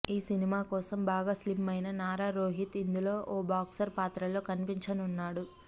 ఈ సినిమా కోసం బాగా స్లిమ్ అయిన నార రోహిత్ ఇందులో ఓ బాక్సర్ పాత్రలో కనిపించనున్నాడు